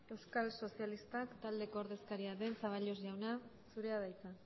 euskal sozialistak taldeko ordezkaria den zaballos jauna zurea da hitza